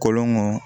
Kolon ŋɔn